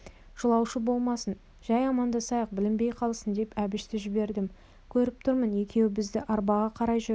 жылаушы болмасын жай амандасайық білінбей қалсын деп әбішті жібердім көріп тұрмын екеуі біздің арбаға қарай жүрді